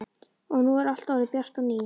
Og nú er allt orðið bjart á ný.